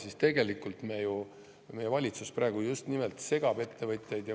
Aga tegelikult meie valitsus ju praegu just nimelt segab ettevõtjaid.